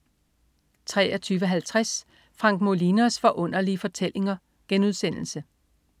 23.50 Frank Molinos Forunderlige Fortællinger*